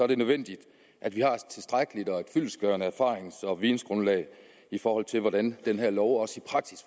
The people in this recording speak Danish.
det nødvendigt at vi har et tilstrækkeligt og fyldestgørende erfarings og videngrundlag i forhold til hvordan den her lov også